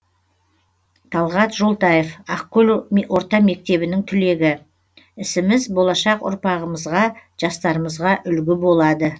талғат жолтаев ақкөл орта мектебінің түлегі ісіміз болашақ ұрпағымызға жастарымызға үлгі болады